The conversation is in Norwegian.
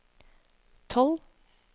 tolv